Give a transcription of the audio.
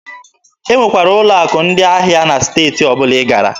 E nwekwara ụlọ akụ ndị ahịa na steeti ọbụla ị gara.